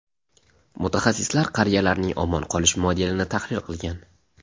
mutaxassislar qariyalarning omon qolish modelini tahlil qilgan.